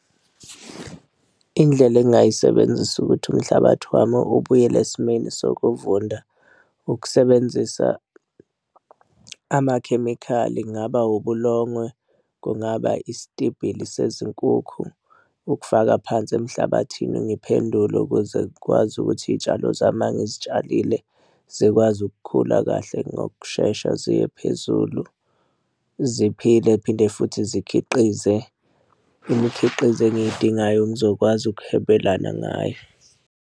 Indlela engingayisebenzisa ukuthi umhlabathi wami ubuyele esimeni sokuvunda, ukusebenzisa amakhemikhali kungaba ubulongwe kungaba isitibhili sezinkukhu ukufaka phansi emhlabathini ngiphendule ukuze ngikwazi ukuthi iy'tshalo zami uma ngizitshalile zikwazi ukukhula kahle ngokushesha ziye phezulu ziphile phinde futhi zikhiqize imikhiqizo engiy'dingayo ngizokwazi ukuhwebelana ngayo.